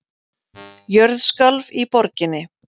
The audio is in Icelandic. Jörð skalf í borginni